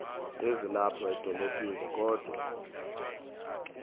ezilapha edolophini kodwa